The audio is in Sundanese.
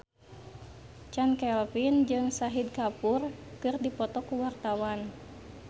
Chand Kelvin jeung Shahid Kapoor keur dipoto ku wartawan